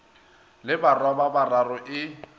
le barwa ba bararo e